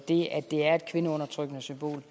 det at det er et kvindeundertrykkende symbol